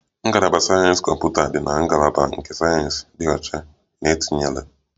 Ngalaba sayensị kọmputa dị na ngalaba nke sayensị dị ọcha na etinyere